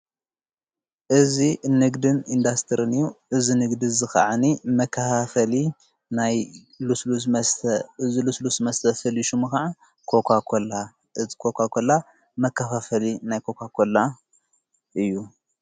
እዙ ግድን ኢንዳስትርን ዩ እዝ ንግድ ዝኸዓኒ መካሃፈሊ ናይ እዝሉስሉስ መስተ ፈልዩ ሹሙ ኸዓ ኮኳ ላ ኮኳ ኮላ መካፋፈሊ ናይ ኮኳ ኮላ እዩ።